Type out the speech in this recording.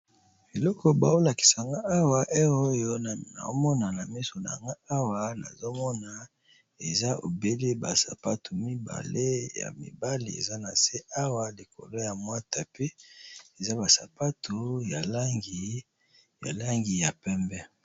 Eloko bao lakisa nga awa heure oyo naomona na miso nanga awa nazomona eza ebele ba sapatu mibale ya mibale eza na se awa likolo ya mwa tapi eza ba sapatu ya langi ya pembe.